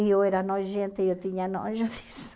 E eu era nojenta, eu tinha nojo disso.